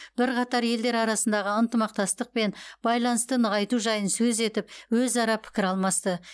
бірқатар елдер арасындағы ынтымақтастық пен байланысты нығайту жайын сөз етіп өзара пікір алмасты